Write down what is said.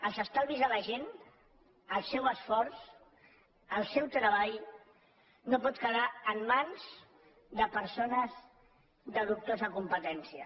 els estalvis de la gent el seu esforç i el seu treball no poden quedar en mans de persones de dubtosa competència